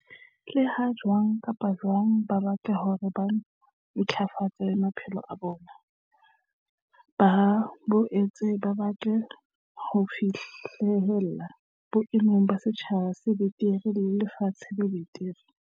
Leha jwang kapa jwang ba batla hore ba ntlafatse maphelo a bona, ba boetse ba batla ho fi hlella boemong ba setjhaba se betere le lefatshe le betere.